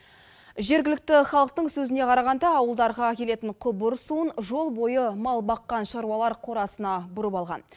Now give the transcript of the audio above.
жергілікті халықтың сөзіне қарағанда ауылдарға келетін құбыр суын жол бойы мал баққан шаруалар қорасына бұрып алған